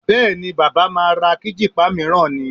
Bẹ́ẹ̀ni, baba máa ra kíjìpá mìíràn ni